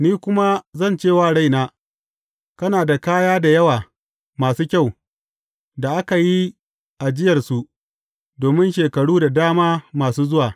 Ni kuma zan ce wa raina, Kana da kaya da yawa masu kyau, da aka yi ajiyarsu domin shekaru da dama masu zuwa.